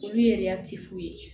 Olu yɛrɛ ti fu ye